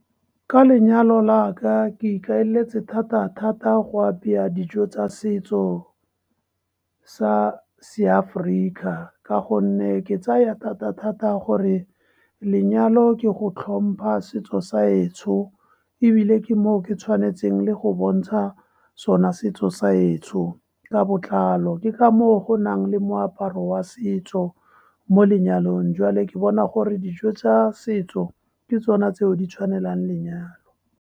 Ka lenyalo la ka, ikaeletse thata-thata go apaya dijo tsa setso sa seAforika, ka gonne ke tsaya thata-thata gore lenyalo ke go tlhompha setso sa etsho, ebile ke moo ke tshwanetseng le go bontsha sona setso sa etsho ka botlalo. Ke ka moo go nale moaparo wa setso mo lenyalong, jwale ke bona gore dijo tsa setso di tsona tseo di tshwanelang lenyalo.